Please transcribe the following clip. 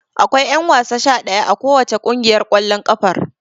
Akwai ƴanwasa sha ɗaya a kowace ƙungiyar ƙwallon ƙafar.